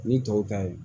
Ni tɔw ta ye